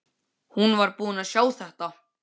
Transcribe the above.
Hún var búin að sjá þetta!